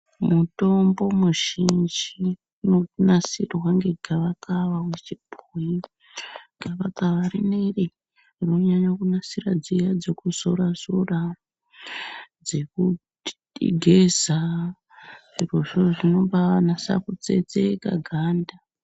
Mutombo muzhinji unonasirwa ngegava kawa uchipuhwe gava gava rineri rinonyanya kunasire dziya Dzejuzora zora dzekugeza zviro zvo zvinoba nyasa kutsetseka ganda.